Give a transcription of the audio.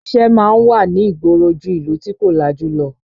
Iṣẹ́ máa ń wà ní ìgboro ju ìlú tí kò lajú lọ